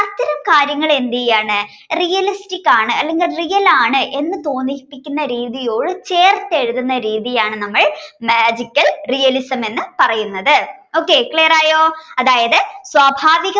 കാര്യങ്ങൾ എന്തിയെ ആണ് realistic ആണ് അല്ലെങ്കിൽ real ആണ് എന്ന് തോന്നിപ്പിക്കുന്ന രീതിയോട് ചേർത്ത് എഴുതുന്ന രീതിയാണ് നമ്മൾ magical realism എന്നു പറയുന്നത്. okay. Clear ആയോ